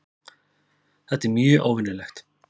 Þetta er mjög óvenjulegt